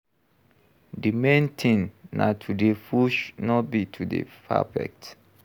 Di main thing na to dey push no be to dey perfect